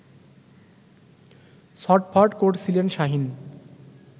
ছটফট করছিলেন শাহীন